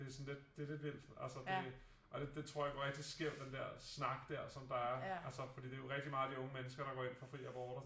Det er sådan lidt det lidt vildt altså det og det tror jeg går rigtig skævt den der snak der som der er altså fordi det jo rigtig meget de unge mennesker der går ind for fri abort